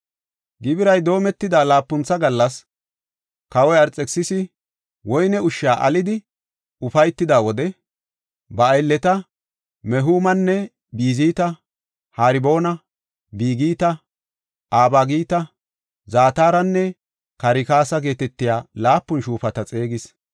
Gibiray doometida laapuntha gallas, kawoy Arxekisisi woyne ushsha alidi ufaytida wode, ba aylleta Mehumana, Bizita, Harboona, Bigita, Abagita, Zataranne Karkasa geetetiya laapun shuufata xeegidi,